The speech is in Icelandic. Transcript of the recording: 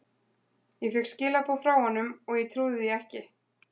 Ég fékk skilaboð frá honum og ég trúði því ekki.